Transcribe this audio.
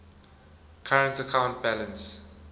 current account balance